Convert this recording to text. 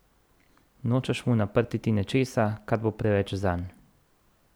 Nočeš mu naprtiti nečesa, kar bo preveč zanj.